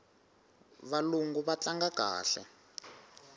valungu va tlanga kahle